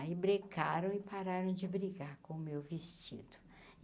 Aí brecaram e pararam de brigar com o meu vestido.